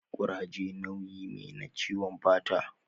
Kuraje nauyi me na ciwon fata